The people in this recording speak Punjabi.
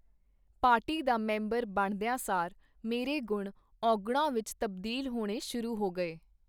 ਪਾਰਟੀ ਦਾ ਮੈਂਬਰ ਬਣਦੀਆਂ ਸਾਰ ਮੇਰੇ ਗੁਣ ਔਗੁਣਾਂ ਵਿਚ ਤਬਦੀਲ ਹੋਣੇ ਸ਼ੁਰੂ ਹੋ ਗਏ.